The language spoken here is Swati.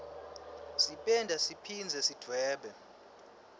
sipenda siphindze sidvwebe